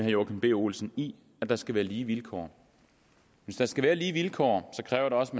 joachim b olsen i at der skal være lige vilkår hvis der skal være lige vilkår kræver det også